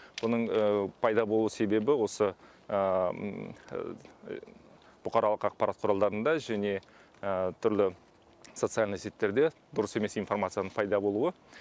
оның пайда болу себебі осы бұқаралық ақпарат құралдарында және түрлі социональный сеттерде дұрыс емес информацияның пайда болуы